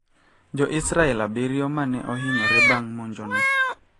Jo Israel abiriyo mane ohinyore bang` monjo no